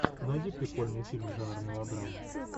найди прикольный фильм жанра мелодрама